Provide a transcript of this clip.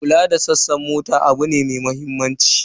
Kula da sassan mota abu ne mai mahimmanci.